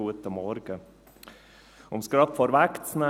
Um es gleich vorwegzunehmen: